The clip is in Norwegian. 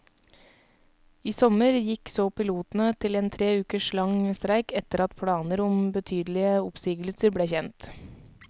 I sommer gikk så pilotene til en tre uker lang streik etter at planer om betydelige oppsigelser ble kjent.